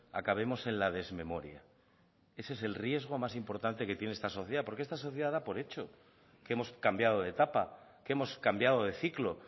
acabemos en la desmemoria ese es el riesgo más importante que tiene esta sociedad porque esta sociedad da por hecho que hemos cambiado de etapa que hemos cambiado de ciclo